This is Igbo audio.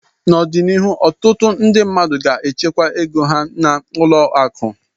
N'ọdịnihu ọtụtụ ndị mmadụ ga-echekwa ego ha n'ụlọ akụ